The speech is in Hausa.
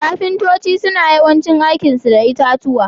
Ƙafintoci suna yawancin aiki su da itatuwa.